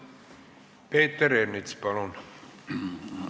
Peeter Ernits, palun!